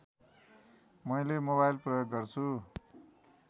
मैले मोबाइल प्रयोग गर्छु